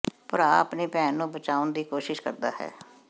ਭਰਾ ਆਪਣੀ ਭੈਣ ਨੂੰ ਬਚਾਉਣ ਦੀ ਕੋਸ਼ਿਸ਼ ਕਰਦਾ ਹੈ